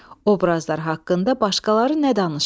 Obrazlar haqqında başqaları nə danışır?